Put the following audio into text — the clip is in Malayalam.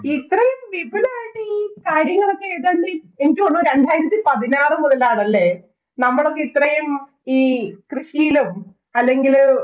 ഇത്രയും വിപുലമായിട്ട് ഈ കാര്യങ്ങള്‍ ഒക്കെ ഏതാണ്ട് എനിക്ക് തോന്നുന്നു രണ്ടായിരത്തി പതിനാറ് മുതലാണല്ലേ നമ്മളൊക്കെ ഇത്രയും ഈ കൃഷിയിലും, അല്ലെങ്കില്